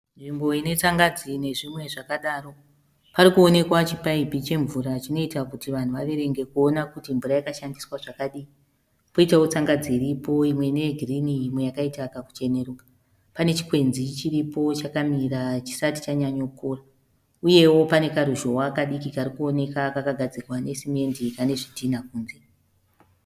Nzvimbo ine tsangadzi nezvimwe zvakadaro. Pane chipaipi chinorakidza kuti mvura yakashandiswa zvakadii. Pane tsangadzi iripo imwe yegirinhi imwe yakachenerukira. Pane chikwenzi chiripo chakamira chisati chanyanyokura. Uyewo pane karuzhowa kadiki kakagadzirwa nesemende kane zvidhinha kunze.